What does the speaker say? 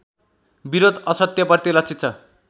विरोध असत्यप्रति लक्षित छ